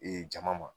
Ee jama ma